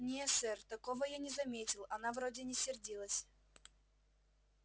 не сэр такого я не заметил она вроде не сердилась